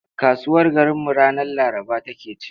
Kasuwar garinmu ranar Laraba take ci.